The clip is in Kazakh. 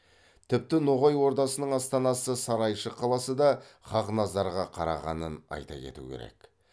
тіпті ноғай ордасының астанасы сарайшық қаласы да хақназарға қарағанын айта кету керек